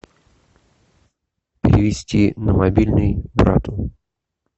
перевести на мобильный брату